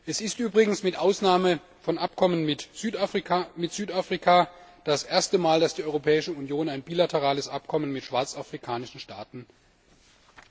Es ist übrigens mit Ausnahme von Abkommen mit Südafrika das erste Mal, dass die Europäische Union ein bilaterales Abkommen mit schwarzafrikanischen Staaten schließt.